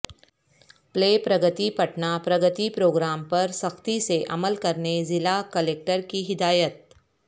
پلے Pragati Patna Pragati programme پر سختی سے عمل کرنے ضلع کلکٹر کی ہدایت